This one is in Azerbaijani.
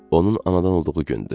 Onun anadan olduğu gündü.